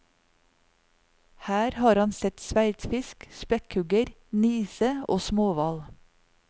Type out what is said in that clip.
Her har han sett sverdfisk, spekkhugger, nise og småhval.